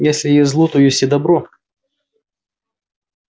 если есть зло то есть и добро